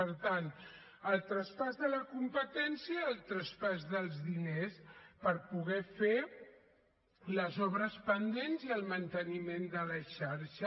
per tant el traspàs de la competència el traspàs dels diners per poder fer les obres pendents i el manteniment de la xarxa